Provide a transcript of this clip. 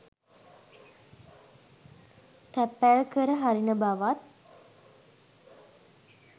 තැපැල්කර හරින බවත්